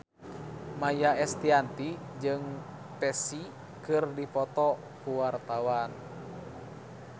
Maia Estianty jeung Psy keur dipoto ku wartawan